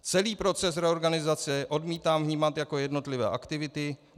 Celý proces reorganizace odmítám vnímat jako jednotlivé aktivity.